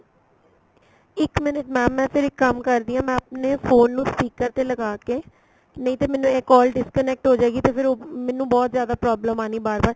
ਇੱਕ minute mam ਮੈਂ ਫ਼ਿਰ ਇੱਕ ਕੰਮ ਕਰਦੀ ਆ ਮੈਂ ਆਪਣੇ phone ਨੂੰ speaker ਤੇ ਲਗਾ ਕੇ ਨਹੀਂ ਤੇ ਮੈਨੂੰ ਇਹ call disconnect ਹੋਜੇਗੀ ਤੇ ਫੇਰ ਮੈਨੂੰ ਬਹੁਤ ਜਿਆਦਾ problem ਆਣੀ ਬਾਰ ਬਾਰ